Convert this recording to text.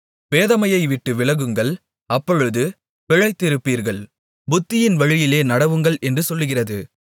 பேதமையைவிட்டு விலகுங்கள் அப்பொழுது பிழைத்திருப்பீர்கள் புத்தியின் வழியிலே நடவுங்கள் என்று சொல்லுகிறது